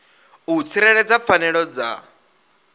na u tsireledza pfanelo dza